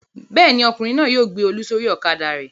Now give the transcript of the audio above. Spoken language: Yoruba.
Bẹ́ẹ̀ ni, ọkùnrin náà yóò gbé Olú sórí ọ̀kadà rẹ̀.